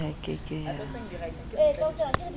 nebank ho ke ke ha